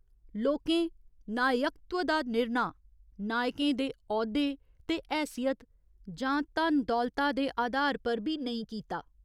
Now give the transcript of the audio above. लोकें नायकत्व दा निर्णा नायकें दे औह्दे ते हैसियत जां धन दौलता दे अधार पर बी नेईं कीता।